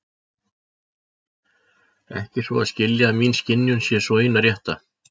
Ekki svo að skilja að mín skynjun sé sú eina rétta.